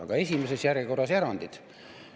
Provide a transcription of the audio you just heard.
Aga esimeses järjekorras erandid.